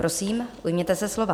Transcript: Prosím, ujměte se slova.